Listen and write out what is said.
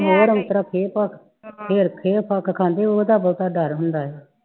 ਹੋਰ ਉਂਤਰਾ ਖੇ ਖੁਖ ਖਾਂਦੇ ਉਹਦਾ ਬਹੁਤਾ ਡਰ ਹੁੰਦਾ